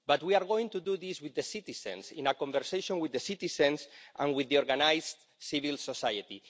But we are going to do this with the citizens in a conversation with the citizens and with organised civil society.